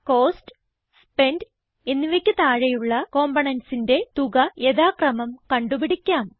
cost spent എന്നിവയ്ക്ക് താഴെയുള്ള componentsന്റെ തുക യഥാക്രമം കണ്ടു പിടിക്കാം